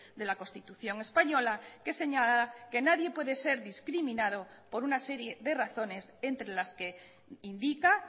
de la constitución española que señala que nadie puede ser discriminado por una serie de razones entre las que indica